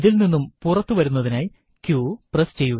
ഇതിൽനിന്നും പുറത്തു വരുന്നതിനായി q പ്രസ് ചെയ്യുക